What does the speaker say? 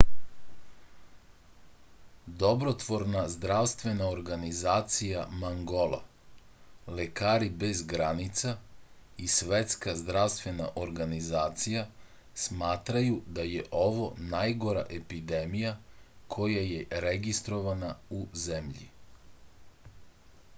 dobrotvorna zdravstvena organizacija mangola lekari bez granica i svetska zdravstvena organizacija smatraju da je ovo najgora epidemija koja je registrovana u zemlji